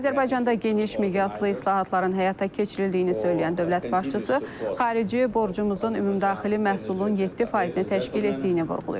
Azərbaycanda geniş miqyaslı islahatların həyata keçirildiyini söyləyən dövlət başçısı xarici borcumuzun ümumdaxili məhsulun 7%-ni təşkil etdiyini vurğulayıb.